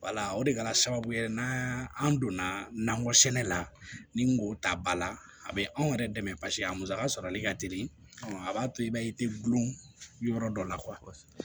Wala o de kɛra sababu ye n'an donna nakɔ sɛnɛ la ni n ko ta bala a bɛ anw yɛrɛ dɛmɛ paseke a musaka sɔrɔli ka teli a b'a to i b'a ye i tɛ gulɔ dɔ la